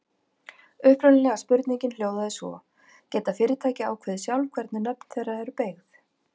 Upprunalega spurningin hljóðaði svo: Geta fyrirtæki ákveðið sjálf hvernig nöfn þeirra eru beygð?